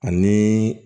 Ani